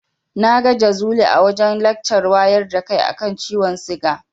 Na ga Jazuli a wajen lakcar wayar da kai a kan ciwon siga.